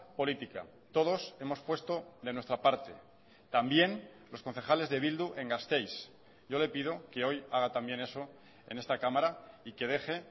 política todos hemos puesto de nuestra parte también los concejales de bildu en gasteiz yo le pido que hoy haga también eso en esta cámara y que deje